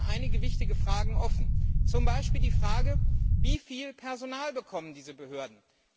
Es bleiben einige wichtige Fragen offen, zum Beispiel die Frage Wie viel Personal bekommen diese Behörden?